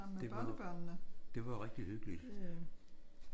Det var det var rigtigt hyggeligt